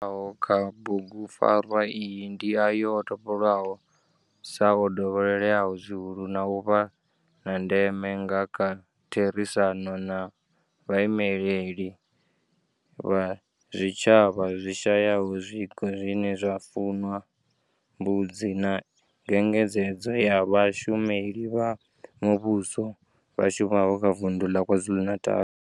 Kha bugupfarwa iyi ndi ayo o topolwaho sa o dovhololeaho zwihulu na u vha a ndeme nga kha therisano na vhaimeleli vha zwitshavha zwi shayaho zwiko zwine zwa fuwa mbudzi na nyengedzedzo ya vhashumeli vha muvhusho vha shumaho kha vundu ḽa KwaZulu-Natal.